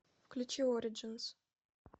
включи ориджинс